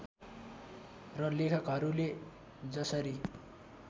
र लेखकहरूले जसरी